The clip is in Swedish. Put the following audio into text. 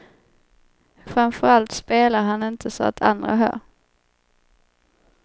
Framför allt spelar han inte så att andra hör.